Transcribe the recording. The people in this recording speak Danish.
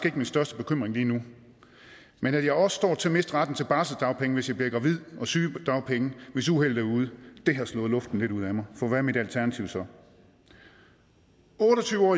ikke min største bekymring lige nu men at jeg også står til at miste retten til barselsdagpenge hvis jeg bliver gravid og sygedagpenge hvis uheldet er ude det har slået luften lidt ud af mig for hvad er mit alternativ så otte og tyve